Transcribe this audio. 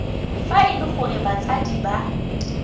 fa e le gore batsadi